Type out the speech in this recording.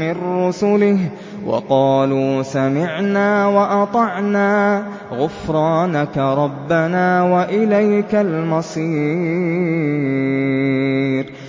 مِّن رُّسُلِهِ ۚ وَقَالُوا سَمِعْنَا وَأَطَعْنَا ۖ غُفْرَانَكَ رَبَّنَا وَإِلَيْكَ الْمَصِيرُ